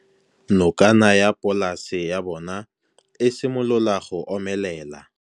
Nokana ya polase ya bona, e simolola go omelela.